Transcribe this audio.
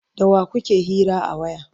da wa kuke hira a waya?